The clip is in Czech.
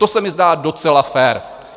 To se mi zdá docela fér.